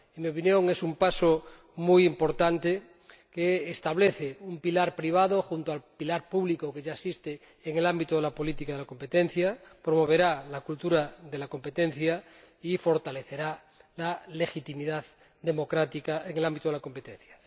En mi opinión, es un paso muy importante que establece un pilar privado —junto al pilar público que ya existe— en el ámbito de la política de competencia, promoverá la cultura de la competencia y fortalecerá la legitimidad democrática en el ámbito de la competencia.